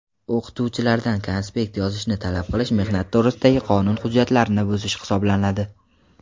O‘qituvchilardan konspekt yozishni talab qilish mehnat to‘g‘risidagi qonun hujjatlarini buzish hisoblanadi.